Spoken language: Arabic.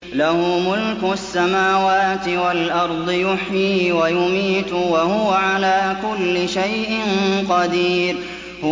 لَهُ مُلْكُ السَّمَاوَاتِ وَالْأَرْضِ ۖ يُحْيِي وَيُمِيتُ ۖ وَهُوَ عَلَىٰ كُلِّ شَيْءٍ قَدِيرٌ